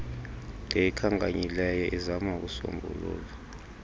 ndiyikhankanyileyo izama ukuusombulula